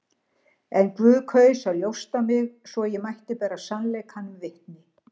En Guð kaus að ljósta mig, svo ég mætti bera sannleikanum vitni.